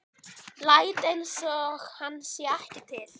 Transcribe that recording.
Læt einsog hann sé ekki til.